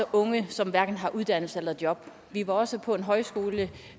unge som hverken har uddannelse eller job vi var også på en højskole